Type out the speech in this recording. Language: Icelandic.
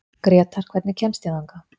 Grétar, hvernig kemst ég þangað?